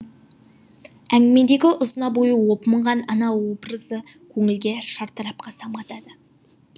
әңгімедегі ұзына бойы опынған ана образы көңілге шартарапқа самғатады